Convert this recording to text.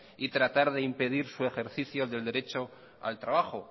y tratar de impedir su ejercicio del derecho al trabajo